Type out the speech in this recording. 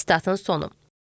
Sitatın sonu.